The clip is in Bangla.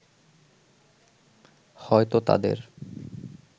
হয়তো তাদের